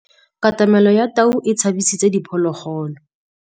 Katamêlô ya tau e tshabisitse diphôlôgôlô.